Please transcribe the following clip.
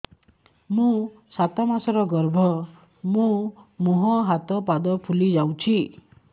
ମୋ ସାତ ମାସର ଗର୍ଭ ମୋ ମୁହଁ ହାତ ପାଦ ଫୁଲି ଯାଉଛି